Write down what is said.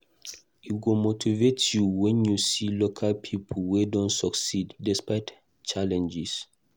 E go motivate you wen you see local pipo wey don succeed despite challenges.